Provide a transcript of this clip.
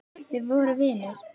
Þið voruð vinir.